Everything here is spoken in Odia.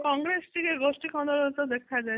ହଁ କଂଗ୍ରେସ ଟିକେ ଗୋଷ୍ଠୀ କୋଣ ଅଂଶ ଦେଖାଯାଏ